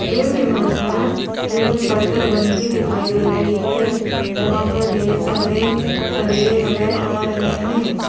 इस इमेज में एक छत बनती दिखाई दे रही है जहां पर ढेर सारे चलिए नजर आ रहे हैं।